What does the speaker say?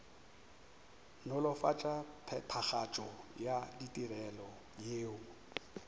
nolofatša phethagatšo ya ditirelo yeo